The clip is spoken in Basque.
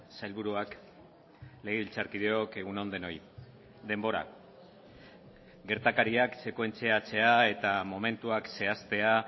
sailburuak legebiltzarkideok egun on denoi denbora gertakariak sekuentziatzea eta momentuak zehaztea